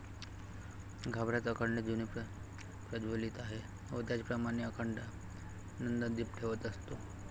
गाभाऱ्यात अखंड धुनी प्रज्वलित आहे व त्याचप्रमाणे अखंड नंदादीप ठेवत असतो.